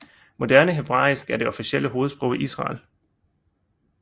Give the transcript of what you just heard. Moderne hebraisk er det officielle hovedsprog i Israel